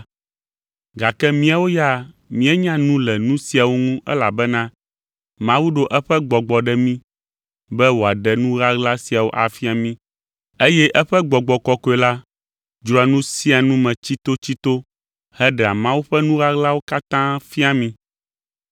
Gake míawo ya míenya nu le nu siawo ŋu elabena Mawu ɖo eƒe Gbɔgbɔ ɖe mí be wòaɖe nu ɣaɣla siawo afia mí eye eƒe Gbɔgbɔ Kɔkɔe la dzroa nu sia nu me tsitotsito heɖea Mawu ƒe nu ɣaɣlawo katã fiaa mí.